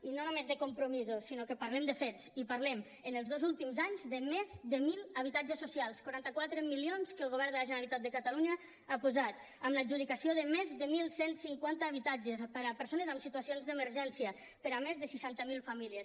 i no només de compromisos sinó que parlem de fets i parlem en els dos últims anys de més de mil habitatges socials quaranta quatre milions que el govern de la generalitat de catalunya ha posat amb l’adjudicació de més de onze cinquanta habitatges per a persones en situacions d’emergència per a més de seixanta mil famílies